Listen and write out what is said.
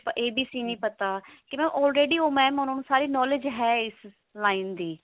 ਤਾਂ abc ਨੀ ਪਤਾ ਕਿ already mam ਉਹਨਾਂ ਨੂੰ ਸਾਰੀ knowledge ਹੈ ਇਸ line ਦੀ